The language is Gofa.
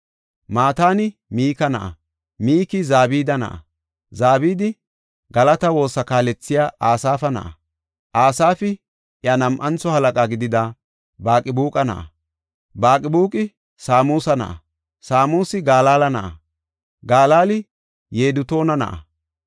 Mataani Mika na7a; Miki Zabida na7a; Zabidi galata woosa kaalethiya Asaafa na7a; Asaafi iya nam7antho halaqa gidida Baqibuuqa na7a; Baqibuuqi Samusa na7a; Samusi Galaala na7a; Galaali Yedutuuna na7a.